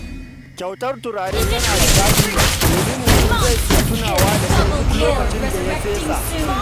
Kyautar turare tana da daɗi, domin mutun zai ke tunawa da kai duk lokacin da ka fesa.